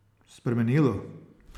Spremenilo?